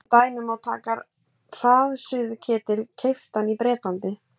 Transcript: sem dæmi má taka hraðsuðuketil keyptan í bretlandi